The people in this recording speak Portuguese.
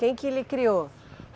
Quem que lhe criou?